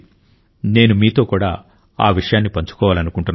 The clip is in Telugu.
నేను మీతో కూడా ఆ విషయాన్ని పంచుకోవాలనుకుంటున్నాను